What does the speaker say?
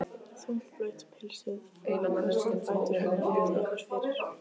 Þungt blautt pilsið flaksast um fætur hennar og tefur fyrir.